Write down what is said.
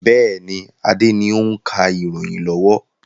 Bẹ́ẹ̀ni, Adé ni o ń ka ìròyìn lọ́wọ́.